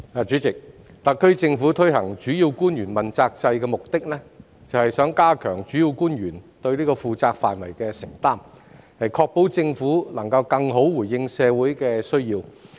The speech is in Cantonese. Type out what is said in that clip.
主席，特區政府推行主要官員問責制的目的，是要加強主要官員對其負責範圍的承擔，確保政府能夠更有效地回應社會的需要。